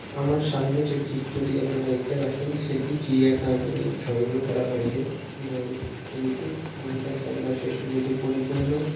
আমার সামনে যে চিত্রটি আপনারা দেখতে পাচ্ছেন সেটি চিড়িয়াখানা থেকে সংগ্রহ করা হয়েছে এবং ছবিটি এবং তার চারিপাশে সবুজে পরিপূর্ণ।